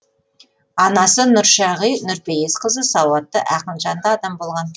анасы нұршағи нұрпейісқызы сауатты ақынжанды адам болған